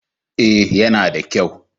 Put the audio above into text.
Eh ya na da kyau